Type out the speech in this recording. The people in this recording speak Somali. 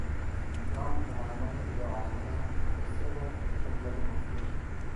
Waa maxay calaamadaha iyo calaamadaha Macrocephaly capillary malformation?